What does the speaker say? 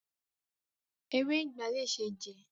Ewé ìgbá le ṣe jẹ.